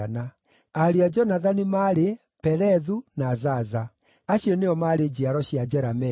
Ariũ a Jonathani maarĩ: Pelethu na Zaza. Acio nĩo maarĩ njiaro cia Jerameeli.